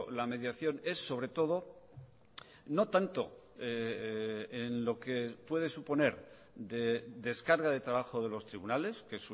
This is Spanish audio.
la mediación es sobre todo no tanto en lo que puede suponer de descarga de trabajo de los tribunales que